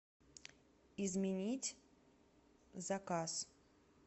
изменить заказ